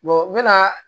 n mɛna